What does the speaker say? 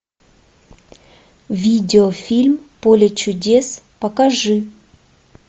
видеофильм поле чудес покажи